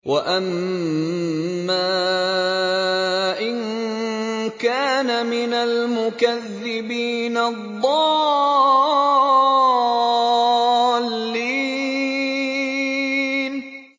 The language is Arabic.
وَأَمَّا إِن كَانَ مِنَ الْمُكَذِّبِينَ الضَّالِّينَ